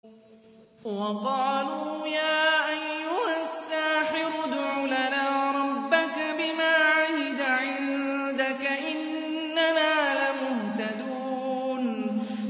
وَقَالُوا يَا أَيُّهَ السَّاحِرُ ادْعُ لَنَا رَبَّكَ بِمَا عَهِدَ عِندَكَ إِنَّنَا لَمُهْتَدُونَ